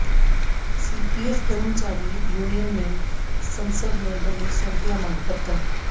CPF ਕਰਮਚਾਰੀ union ਨੇ ਸੰਸਦ ਮੈਂਬਰ ਲਈ ਸੌਂਪਿਆ ਮੰਗ ਪੱਤਰ